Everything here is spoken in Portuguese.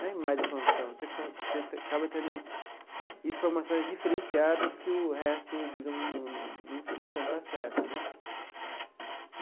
Nem é mais informação, você com você acaba tendo informações diferenciadas que o resto, digamos, não não não tinha tanto acesso né.